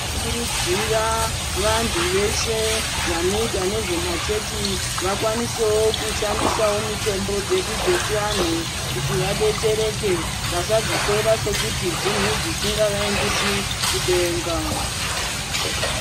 Tinokurudzirwa vantu veshe Vanoita nezvemachechi vakwanisewo kushandisa mishando yedu dzechivantu kudetsera antu vasadzitora sekuti dzisingavaendesi Kudenga.